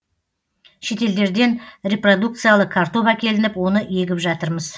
шетелдерден репродукциялы картоп әкелініп оны егіп жатырмыз